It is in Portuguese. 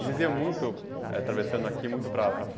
E vocês iam muito atravessando aqui, muito para para